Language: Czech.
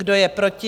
Kdo je proti?